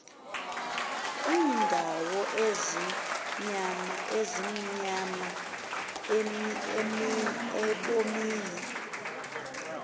iindawo ezimnyama ebomini